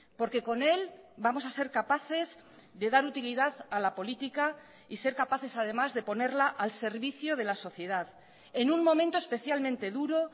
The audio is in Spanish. porque con él vamos a ser capaces de dar utilidad a la política y ser capaces además de ponerla al servicio de la sociedad en un momento especialmente duro